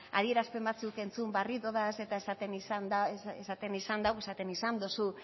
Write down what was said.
adierazpen batzuk entzun berri ditut eta esaten izan du